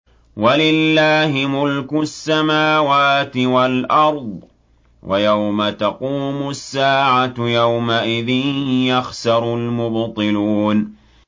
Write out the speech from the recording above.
وَلِلَّهِ مُلْكُ السَّمَاوَاتِ وَالْأَرْضِ ۚ وَيَوْمَ تَقُومُ السَّاعَةُ يَوْمَئِذٍ يَخْسَرُ الْمُبْطِلُونَ